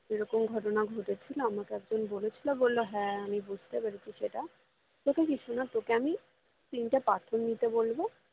এরকম ঘটনা ঘটেছিলো আমাকে একজন বলেছিলো বললো হ্যাঁ আমি বুঝতে পেরেছি সেটা তোকে কিছু না তোকে আমি তিনটে পাথর নিতে বলবো